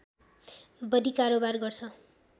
बढी कारोवार गर्छ